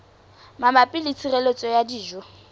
mabapi le tshireletso ya dijo